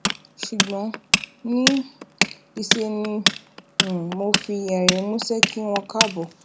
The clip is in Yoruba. ṣùgbón ní um í ṣe ni um mo fi èrín músé kí wọn káàbò